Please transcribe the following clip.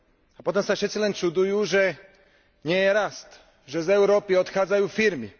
A potom sa všetci len čudujú, že nie je rast, že z Európy odchádzajú firmy.